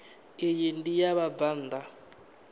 iyi ndi ya vhabvann ḓa